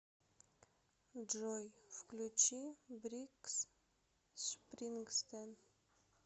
джой включи брюс спрингстин